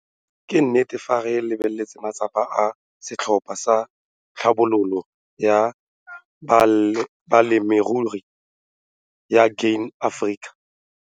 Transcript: Ke nnete fa re lebelela matsapa a setlhopha sa Tlhabololo ya Balemirui ya Grain SA.